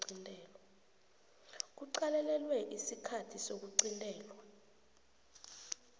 kuqalelelwe isikhathi sokuqintelwa